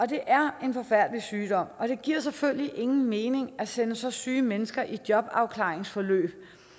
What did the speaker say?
det er en forfærdelig sygdom og det giver selvfølgelig ingen mening at sende så syge mennesker i jobafklaringsforløb